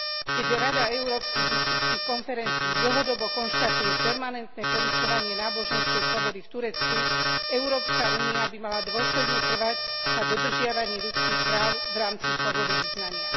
Keďže Rada Európskych biskupských konferencií dlhodobo konštatuje permanentné porušovanie náboženskej slobody v Turecku, Európska únia by mala dôsledne trvať na dodržiavaní ľudských práv v rámci slobody vyznania.